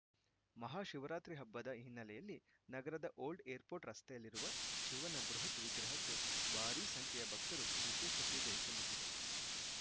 ಮಹಾಶಿವರಾತ್ರಿ ಹಬ್ಬದ ಹಿನ್ನೆಲೆಯಲ್ಲಿ ನಗರದ ಓಲ್ಡ್‌ ಏರ್‌ಪೋರ್ಟ್‌ ರಸ್ತೆಯಲ್ಲಿರುವ ಶಿವನ ಬೃಹತ್‌ ವಿಗ್ರಹಕ್ಕೆ ಭಾರಿ ಸಂಖ್ಯೆಯ ಭಕ್ತರು ವಿಶೇಷ ಪೂಜೆ ಸಲ್ಲಿಸಿದರು